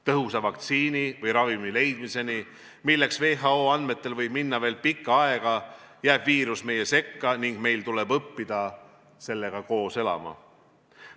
Tõhusa vaktsiini või ravimi leidmiseni, milleks WHO andmetel võib minna veel pikka aega, jääb viirus meie sekka ning meil tuleb õppida sellega koos elama.